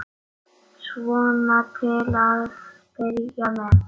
Svona til að byrja með.